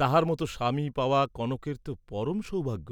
তাহার মত স্বামী পাওয়া কনকের ত পরম সৌভাগ্য,